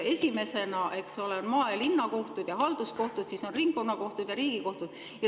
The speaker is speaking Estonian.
Esimesena, eks ole, maa‑ ja linnakohtud ning halduskohtud, siis on ringkonnakohtud ja Riigikohus.